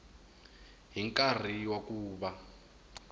hi nkarhi wa ku va